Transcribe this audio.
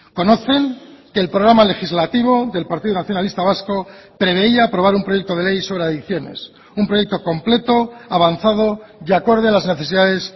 conocen que el programa legislativo del partido nacionalista vasco preveía aprobar un proyecto de ley sobre adicciones un proyecto completo avanzado y acorde a las necesidades